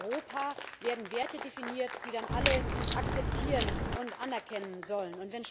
Hier in Europa werden Werte definiert, die dann alle akzeptieren und anerkennen sollen.